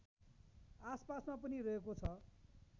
आसपासमा पनि रहेको छ